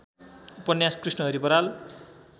उपन्यास कृष्णहरि बराल